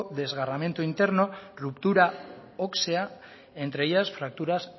desgarramiento interno ruptura ósea entre ellas fracturas